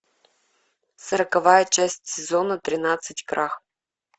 сороковая часть сезона тринадцать крах